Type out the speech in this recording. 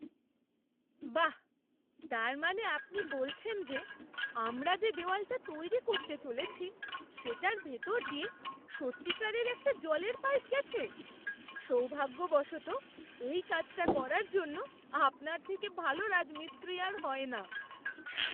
বাহ্, তার মানে আপনি বলছেন যে আমরা যে দেওয়ালটা তৈরি করতে চলেছি সেটার ভেতর দিয়ে সত্যিকারের একটা জলের পাইপ গেছে? সৌভাগ্যবশত, এই কাজটা করার জন্য আপনার থেকে ভালো রাজমিস্ত্রি আর হয় না।